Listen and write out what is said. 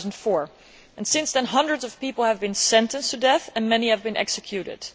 2004. Since then, hundreds of people have been sentenced to death and many have been executed.